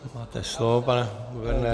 Máte slovo, pane guvernére.